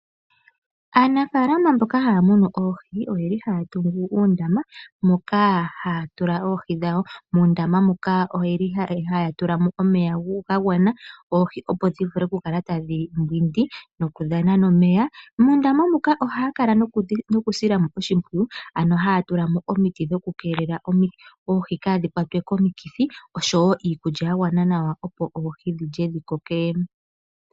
Aanafalama mboka haya munu oohi oyeli haya tungu uundama moka haya tula oohi dhawo, muundama muka oyeli haya tulamo omeya ga gwana oohi opo dhivule oku kala tadhi mbwindi nokudhana omeya. Mondama muka ohaya kala nokusilamo oshimpwiyu ano haya tulamo omiti dhoku kelela oohi kadhi kwatwe komikithi oshowo iikulya ya gwana nawa opo oohi dhilye dhikoke.